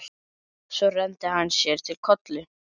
Svo renndi hann sér til Kollu.